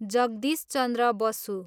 Jagdish Chandra Basu